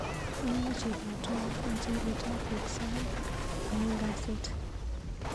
Imuch ibwatwa acheruu chapuk sang kwaeng' kasit.